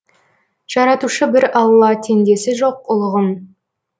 жаратушы бір алла теңдесі жоқ ұлығың